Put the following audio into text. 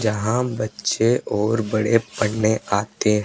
जहां बच्चे और बड़े पढ़ने आते--